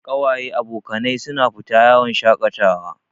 Kawaye/abokanai su na fita yawon shaƙatawa